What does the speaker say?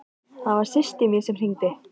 Það var systir mín sem hringdi.